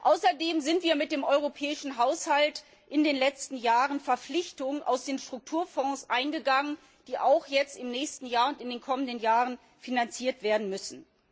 Außerdem sind wir mit dem europäischen Haushalt in den letzten Jahren Verpflichtungen aus den Strukturfonds eingegangen, die auch im nächsten Jahr und in den kommenden Jahren finanziert werden müssen.